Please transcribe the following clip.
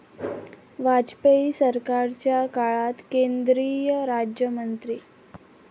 वाजपेयी सरकारच्या काळात केंद्रीय राज्यमंत्री